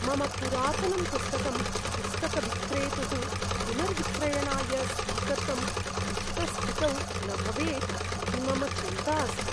मम पुरातनं पुस्तकं पुस्तकविक्रेतुः पुनर्विक्रयणाय स्वीकर्तुम् उचितस्थितौ न भवेत् इति मम चिन्ता अस्ति।